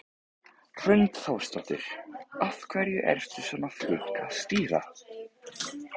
Hrund Þórsdóttir: Af hverju ertu svona flink að stýra?